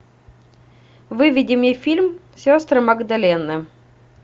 выведи мне фильм сестры магдалины